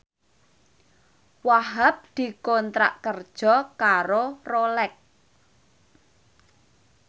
Wahhab dikontrak kerja karo Rolex